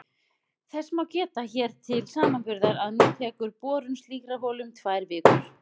Þess má geta hér til samanburðar að nú tekur borun slíkrar holu um tvær vikur!